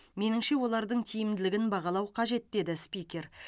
меніңше олардың тиімділігін бағалау қажет деді спикер